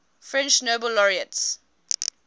french nobel laureates